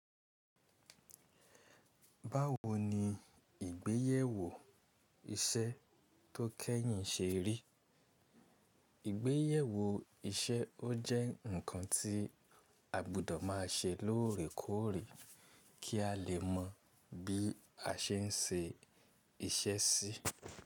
Báwo ni ìgbéyèwò iṣẹ́ tó kẹ́yìn ṣe rí? Ìgbéyèwò iṣẹ́ ó jẹ́ nǹkan tí àgbùdọ̀ má a ṣe lóòrèkóòrè kí a lè mọ bí a ṣe ń ṣe iṣẹ́ sí.